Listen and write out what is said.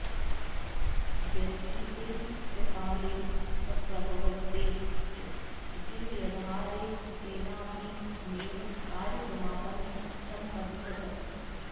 व्यतीते च काले सम्प्रवृत्ते च जटिलव्यवहारे तेनाऽपि नैव कार्यसमापन समपद्यत